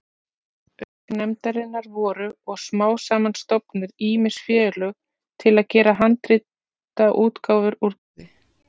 Auk nefndarinnar voru og smám saman stofnuð ýmis félög til að gera handritaútgáfur úr garði.